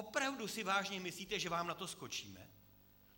Opravdu si vážně myslíte, že vám na to skočíme?